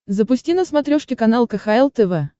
запусти на смотрешке канал кхл тв